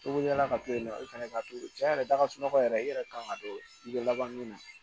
Tobiliya la ka to yen nɔ i fana ka to cɛn yɛrɛ la ka sunɔgɔ yɛrɛ i yɛrɛ kan ka to i bɛ laban min na